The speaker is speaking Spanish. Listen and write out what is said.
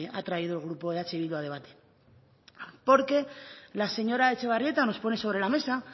ha traído el grupo eh bildu a debate porque la señora etxebarrieta nos pone sobre la mesa